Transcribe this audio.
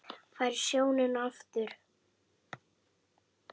Færð sjónina aftur.